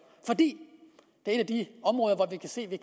for det er et af de områder hvor vi kan se at